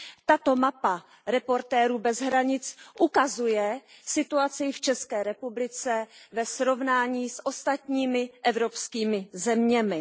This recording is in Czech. Tato mapa Reportérů bez hranic ukazuje situaci v České republice ve srovnání s ostatními evropskými zeměmi.